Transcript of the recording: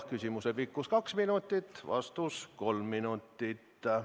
Küsimuse pikkus on kaks minutit, vastus kolm minutit.